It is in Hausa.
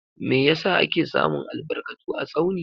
Meh yasa ake samun albarkatu a Tsauni?